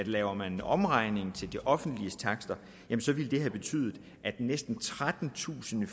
lavede en omregning til de offentliges takster ville det have betydet at næsten trettentusind